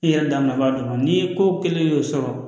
I yɛrɛ da b'a dama ni ko kelen y'o sɔrɔ